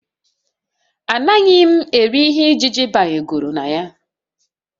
Anaghị m eri ihe ijiji begoro na ya